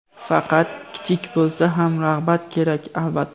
Faqat kichik bo‘lsa ham rag‘bat kerak, albatta.